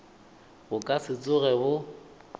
bo ka se tsoge bo